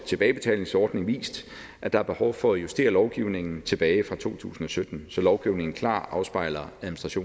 tilbagebetalingsordning vist at der er behov for at justere lovgivningen tilbage fra to tusind og sytten så lovgivningen klart afspejler